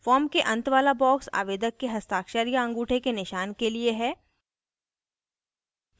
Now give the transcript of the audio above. form के अंत वाला box आवेदक के हस्ताक्षर या अंगूठे के निशान के लिए है